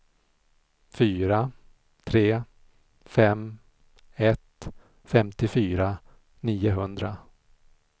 fyra tre fem ett femtiofyra niohundra